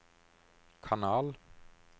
kanal